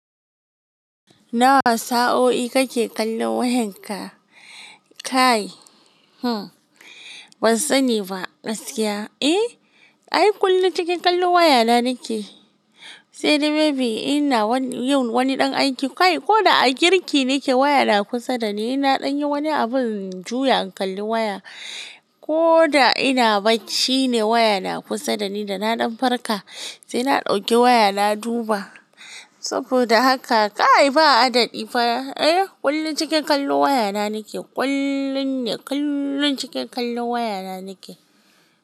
Nawa sa'o'i kake kallon wayan ka? Kai, hmm, ban sanni ba. Gaskiya, eh, ai kullum cikin kallon waya na nake. Sai dai maybe ina yin wani ɗan aiki. Kai, ko da a girki nake waya na kusa dani. Ina dan yi wani abin juya in kalli waya. Ko da ina bacci ne waya na kusa dani da na ɗan farka sai na ɗauki waya na duba. Saboda haka kai, ba hadadɗi fa. Eh, kullum cikin kallon waya na nake. Kullum ne, kullum cikin kallon waya na nake.